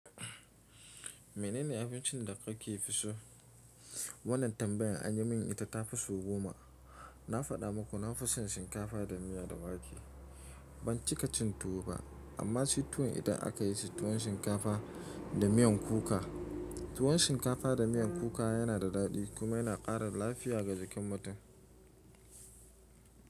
Mene ne abincin da ka fi so? Wannan tambayan anyi min ita ta fi sau goma. Na faɗa maku na fi son shinkafa da miya da wake. Ban cika cin tuwo ba, amma shi tuwon idan aka yi shi tuwon shinkafa da miyan kuka. Tuwon shinkafa da miyan kuka yana da daɗi kuma yana ƙara lafiya ga jikin mutum.